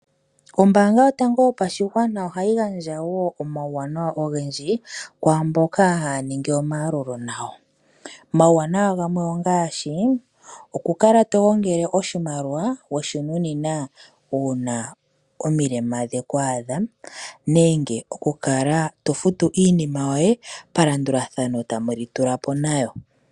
Ombaanga yotango yopashigwana ohayi gandja woo omawuwanawa ogendji kwaamboka haya ningi omayalulo nawa. Omawuwanawa gamwe ongaashii, okukala togongele oshimaliwa weshinunina uuna omilema dheku adha. Nenge okukala tofu iinima yoye palandulathano tamuli tulapo nayo.